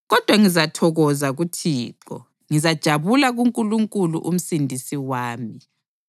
kodwa ngizathokoza kuThixo, ngizajabula kuNkulunkulu uMsindisi wami.